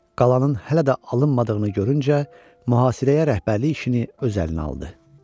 Qalanın hələ də alınmadığını görüncə, mühasirəyə rəhbərliyini öz əlinə aldı.